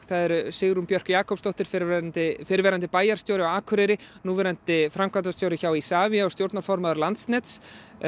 það eru Sigrún Björk Jakobsdóttir fyrrverandi fyrrverandi bæjarstjóri á Akureyri núverandi framkvæmdastjóri hjá Isavia og stjórnarformaður Landsnets